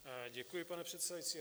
Děkuji, pane předsedající.